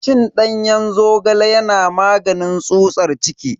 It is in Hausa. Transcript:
Cin danyen zogale yana maganin tsutsar ciki.